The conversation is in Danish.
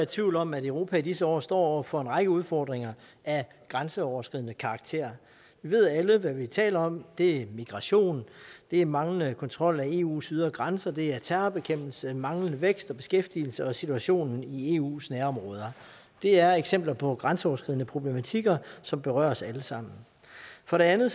tvivl om at europa i disse år står over for en række udfordringer af grænseoverskridende karakter vi ved alle hvad vi taler om det er migration det er manglende kontrol af eus ydre grænser det er terrorbekæmpelse manglende vækst og beskæftigelse og situationen i eus nærområder det er eksempler på grænseoverskridende problematikker som berører os alle sammen for det andet